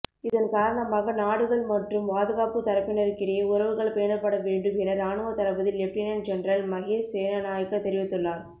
இதன்காரணமாக நாடுகள் மற்றும் பாதுகாப்பு தரப்பினருக்கிடையே உறவுகள் பேணப்பட வேண்டும் என இராணுவத்தளபதி லெப்டினன் ஜெனரல் மஹேஸ் சேனாநாயக்க தெரிவித்துள்ளார்